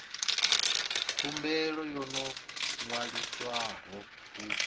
khumbelo yo no ṅwaliswaho u